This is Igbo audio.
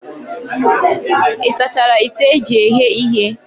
Ị sachara ite eji eghe ihe?